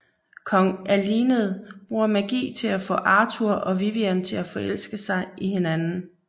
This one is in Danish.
Kong Alined bruger magi til at få Arthur og Vivian til at forelske i hinanden